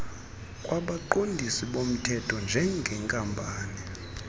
kwabaqondisi bomthetho njengenkampani